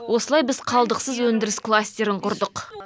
осылай біз қалдықсыз өндіріс кластерін құрдық